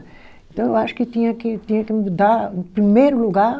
Então eu acho que tinha que tinha que mudar, em primeiro lugar...